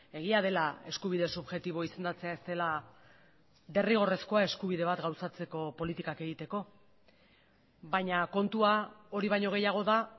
egia dela eskubide subjektibo izendatzea ez dela derrigorrezkoa eskubide bat gauzatzeko politikak egiteko baina kontua hori baino gehiago da